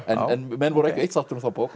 menn voru ekki á eitt sáttir um þá bók